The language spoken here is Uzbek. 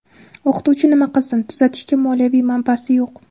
O‘qituvchi nima qilsin, tuzatishga moliyaviy manbasi yo‘q.